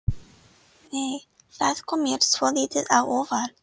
Nei! Það kom mér svolítið á óvart!